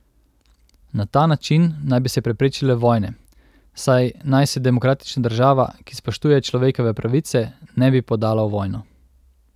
Na ta način naj bi se preprečile vojne, saj naj se demokratična država, ki spoštuje človekove pravice, ne bi podala v vojno.